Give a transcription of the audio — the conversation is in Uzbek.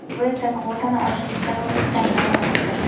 bu esa kvotani oshirish zarurligidan dalolat beradi.